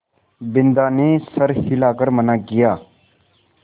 बिन्दा ने सर हिला कर मना किया